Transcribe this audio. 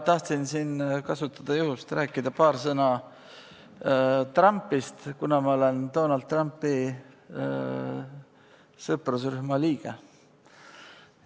Tahtsin kasutada juhust ja rääkida paar sõna Donald Trumpist, kuna ma olen Donald Trumpi sõprusrühma liige.